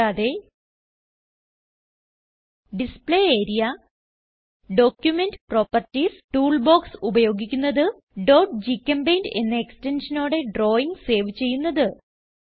കൂടാതെ display area document properties tool box ഉപയോഗിക്കുന്നത് gchempaint എന്ന എക്സ്റ്റൻഷനോടെ ഡ്രാവിംഗ് സേവ് ചെയ്യുന്നത്